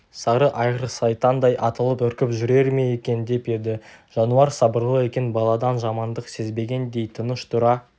сары айғыр сайтандай атылып үркіп жүрер ме екен деп еді жануар сабырлы екен баладан жамандық сезбегендей тыныш тұра